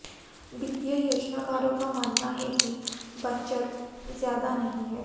वित्तीय योजनाकारों का मानना है कि बचत ज्यादा नहीं है